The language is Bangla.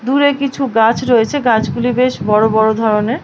দূরে কিছু গাছ রয়েছ। গাছগুলি বেশ বড় বড় ধরনের ।